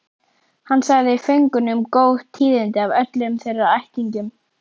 Hann sagði föngunum góð tíðindi af öllum þeirra ættingjum.